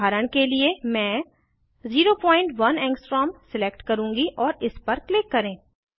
उदाहरण के लिए मैं 01 एंगस्ट्रॉम सिलेक्ट करूँगी और इस पर क्लिक करें